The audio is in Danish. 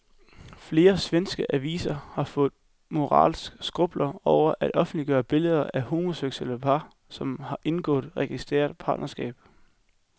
Flere svenske aviser har fået moralske skrupler over at offentliggøre billeder af homoseksuelle par, som har indgået registreret partnerskab.